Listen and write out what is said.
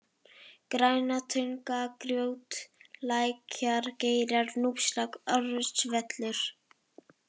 Grænatunga, Grjótlækjargeirar, Núpsrák, Orustuvöllur